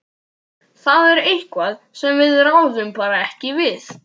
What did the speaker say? Þetta er eitthvað sem við ráðum bara ekki við.